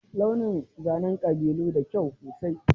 Launin zanen ƙabilun Fulani na da kyau sosai.